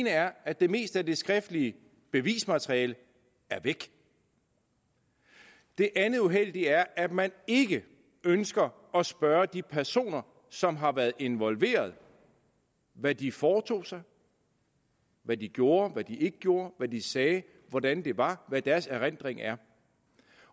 er at det meste af det skriftlige bevismateriale er væk det andet uheldige er at man ikke ønsker at spørge de personer som har været involveret hvad de foretog sig hvad de gjorde hvad de ikke gjorde hvad de sagde hvordan det var hvad deres erindring er